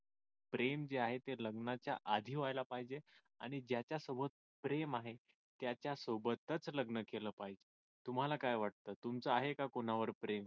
प्रेम जे आहे ते लग्नाच्या आधी व्हायला पाहिजे आणि ज्याच्यासोबत प्रेम आहे त्याच्यासोबतच लग्न केलं पाहिजे तुम्हाला काय वाटत तुमचं आहे का कोणावर प्रेम